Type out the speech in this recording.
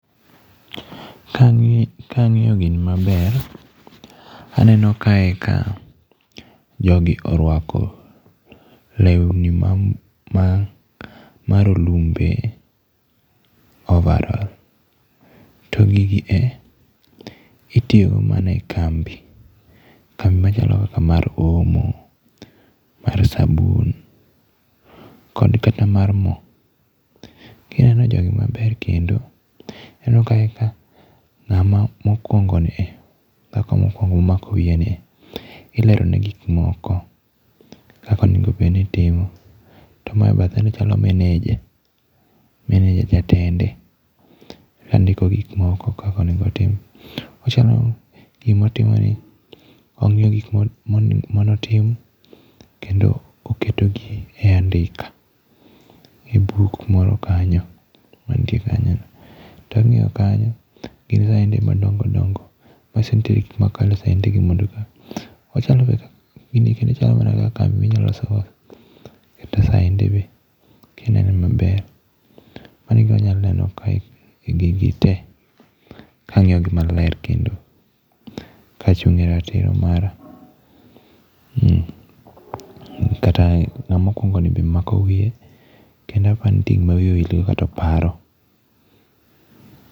Kangíyo, kangíyo gini maber, aneno kae ka jogi orwako lewni ma ma ma rolumbe, overall. To gigi e, itiyogo mana e kambi, kambi machalo kaka mar omo, mar sabun, kod kata mar mo. Kineno jogi maber kendo, ineno eka ngáma mokwongo ni e, dhako mokwongo momako wiye ni e, ilero ne gik moko kaka onego bed ni itimo. To mae bathe ni chalo meneja, meneja, jatende. Ondiko gik moko kaka onego otim. Ochalo gima otimo ni, ongiyo gik ma manotim, kendo oketo gi e andika, e buk moro kanyo, mantie kanyo no. To ongíyo kanyo gin saende madongo dongo, manyiso ni nitie gik ma e saende gi mondo eka. Ochalo bende ka, gini kendo chalo mana kaka ma inyalo loso go kata saende be. Kinene maber. Mano e gima anyalo neno kae e gigi te, ka angiyo gi maler kendo ka achungé ratiro mara.[um] kata ngáma okwongo ni be omako wiye, kendo aparo ni nitie gim wiye owil go, kata oparo.